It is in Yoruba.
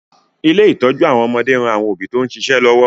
Ilé ìtọ́jú àwọn ọmọdé ń ran àwọn òbí tó ń ṣíṣe lọ́wọ́